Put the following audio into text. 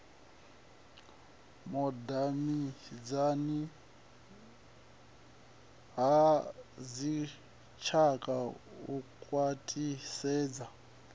vhudavhidzani ha dzitshaka u khwaṱhisedza